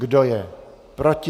Kdo je proti?